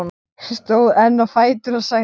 Stóð enn á fætur og sagði: